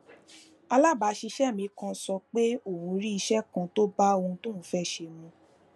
alabaaṣiṣẹ mi kan sọ pé òun rí iṣé kan tó bá ohun tóun fé ṣe mu